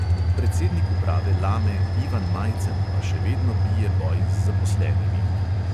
Predsednik uprave lame ivan majcen pa še vedno bije boj z zaposlenimi.